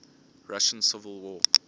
russian civil war